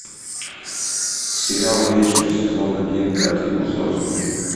сериал вечность сезон один пятый эпизод